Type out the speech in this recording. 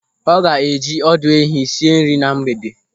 Ọ ga-eji ọdụ ehi esi nri na mgbede.